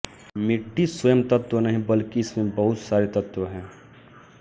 मिटटी स्वयं तत्व नहीं है बल्कि इसमें बहुत सारे तत्व हैं